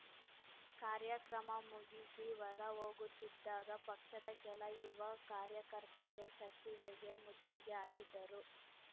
ಕಾರ್ಯಕ್ರಮ ಮುಗಿಸಿ ಹೊರ ಹೋಗುತ್ತಿದ್ದಾಗ ಪಕ್ಷದ ಕೆಲ ಯುವ ಕಾರ್ಯಕರ್ತರು ಸಚಿವೆಗೆ ಮುತ್ತಿಗೆ ಹಾಕಿದರು